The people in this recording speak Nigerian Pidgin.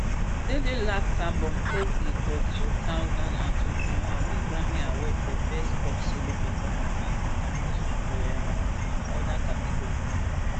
adele last album thirty for two thousand and twenty-one win grammy award for best pop solo performance and six nominations for um oda categories